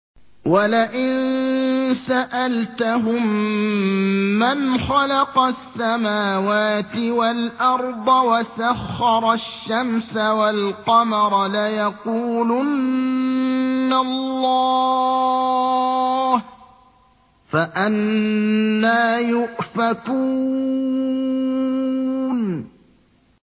وَلَئِن سَأَلْتَهُم مَّنْ خَلَقَ السَّمَاوَاتِ وَالْأَرْضَ وَسَخَّرَ الشَّمْسَ وَالْقَمَرَ لَيَقُولُنَّ اللَّهُ ۖ فَأَنَّىٰ يُؤْفَكُونَ